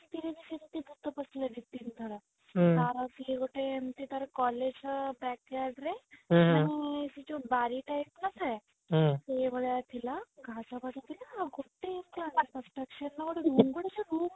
ତିନିଥର ତାର ହଉଛି ତାର ଏମତି ଗୋଟେ collage ର backyard ରେ ମାନେ ସେ ଯୋଉ ବଋ type ନ ଥାଏ ସେଇ ଭଳିଆ ଥିଲା ଘାସ ଫାଶ ଥିଲା ଆଉ ଗୋଟେ